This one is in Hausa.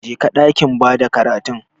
Jeka dakin bada karatun.